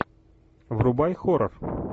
врубай хоррор